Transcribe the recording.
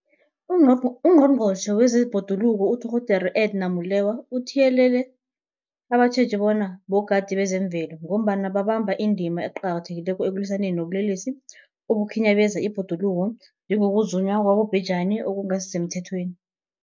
UNgqongqotjhe wezeBhoduluko uDorh Edna Molewa uthiyelele abatjheji bona bogadi bezemvelo, ngombana babamba indima eqakathekileko ekulwisaneni nobulelesi obukhinyabeza ibhoduluko, njengokuzunywa kwabobhejani okungasisemthethweni.